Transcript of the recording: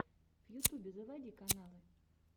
в ютюбе заводи каналы